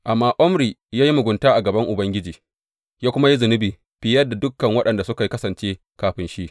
Amma Omri ya yi mugunta a gaban Ubangiji, ya kuma yi zunubi fiye da dukan waɗanda suka kasance kafin shi.